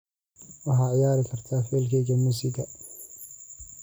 waxaad ciyaari kartaa faylkayga muusiga